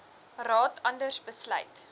raad anders besluit